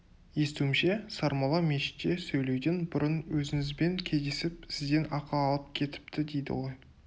естуімше сармолла мешітте сөйлеуден бұрын өзіңізбен кездесіп сізден ақыл алып кетіпті дейді ғой